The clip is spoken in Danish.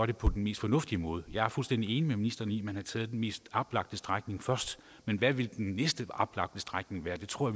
det på den mest fornuftige måde jeg er fuldstændig enig med ministeren i at man har taget den mest oplagte strækning først men hvad ville den næste oplagte strækning være det tror